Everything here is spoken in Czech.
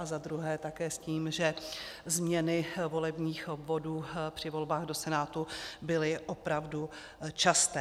A za druhé také s tím, že změny volebních obvodů při volbách do Senátu byly opravdu časté.